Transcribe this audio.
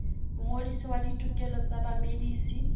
mongodisi wa ditokelo tsa bamedisi